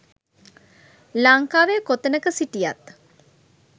ලංකාවේ කොතනක සිටියත්